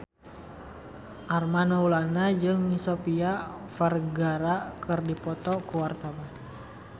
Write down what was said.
Armand Maulana jeung Sofia Vergara keur dipoto ku wartawan